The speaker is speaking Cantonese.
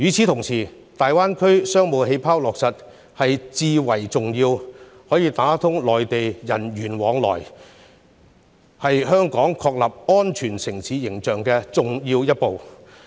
同時，落實"大灣區商務氣泡"，有助打通與內地人員往來，是香港確立安全城市形象的重要一步。